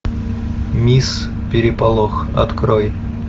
мисс переполох открой